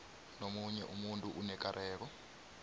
nomunye umuntu onekareko